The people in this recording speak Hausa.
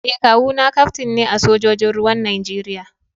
Eh kawu na kaftin ne a sojojin ruwan Najeriya